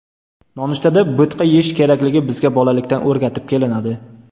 Nonushtada bo‘tqa yeyish kerakligi bizga bolalikdan o‘rgatib kelinadi.